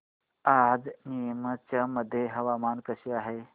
आज नीमच मध्ये हवामान कसे आहे